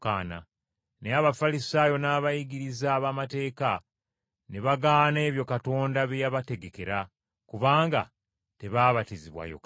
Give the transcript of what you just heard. Naye Abafalisaayo n’abayigiriza b’amateeka ne bagaana ebyo Katonda bye yabategekera, kubanga tebaabatizibwa Yokaana.